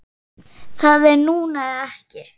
Það er núna eða ekki.